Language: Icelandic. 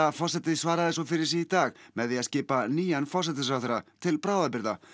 forseti svaraði svo fyrir sig í dag með því að skipa nýjan forsætisráðherra til bráðabirgða